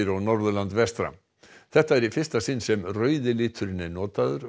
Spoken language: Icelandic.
og Norðurland vestra þetta er í fyrsta sinn sem rauði liturinn er notaður